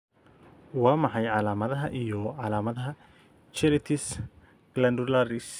Waa maxay calaamadaha iyo calaamadaha Cheilitis glandularis?